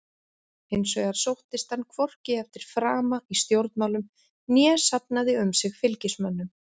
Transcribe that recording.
Hins vegar sóttist hann hvorki eftir frama í stjórnmálum né safnaði um sig fylgismönnum.